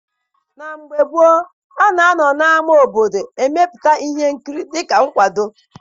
Na mgbe gboo, a na-anọ n'ama obodo emepụta ihe nkiri dịka nkwago.